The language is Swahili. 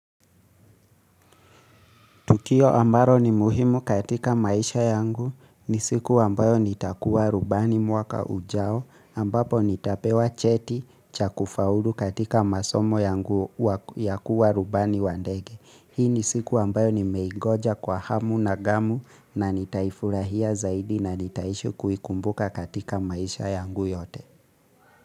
Tukio ambalo ni muhimu katika maisha yangu ni siku ambayo nitakuwa rubani mwaka ujao ambapo nitapewa cheti cha kufaulu katika masomo yangu ya kuwa rubani wa ndege. Hii ni siku ambayo nimeingoja kwa hamu na gamu na nitaifurahia zaidi na nitaishi kuikumbuka katika maisha yangu yote.